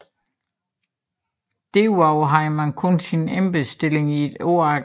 Derudover havde man kun sin embedsstilling et år af gangen